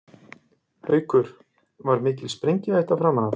Haukur: Var mikil sprengihætta framan af?